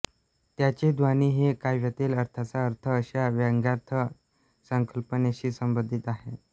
त्याची ध्वनि ही काव्यातील अर्थाचा अर्थ अशा व्यंग्यार्थ संकल्पनेशी संबंधित आहे